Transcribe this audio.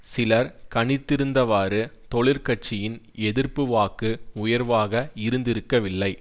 சிலர் கணித் திருந்தவாறு தொழிற் கட்சியின் எதிர்ப்பு வாக்கு உயர்வாக இருந்திருக்கவில்லை